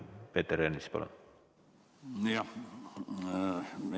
Peeter Ernits, palun!